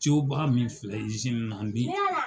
Coba min filɛ izini na n bɛ